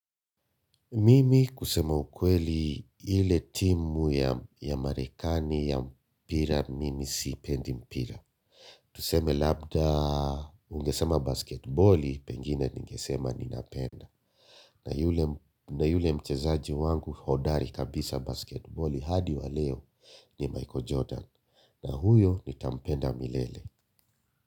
Mimi kusema ukweli ile timu ya Marekani ya mpira, mimi sipendi mpira. Tuseme labda ungesema 'basketball', pengine ningesema ninapenda. Na yule mchezaji wangu hodari kabisa 'basketball' hadi wa leo ni Michael Jordan. Na huyo nitampenda milele.